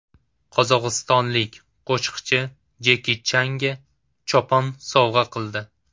Qozog‘istonlik qo‘shiqchi Jeki Changa chopon sovg‘a qildi.